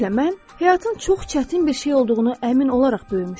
Beləliklə, mən həyatın çox çətin bir şey olduğunu əmin olaraq böyümüşdüm.